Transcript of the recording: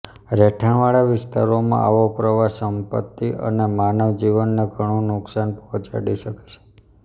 રહેઠાણવાળા વિસ્તારમાં આવો પ્રવાહ સંપતિ અને માનવ જીવનને ઘણું નુકશાન પહોંચાડી શકે છે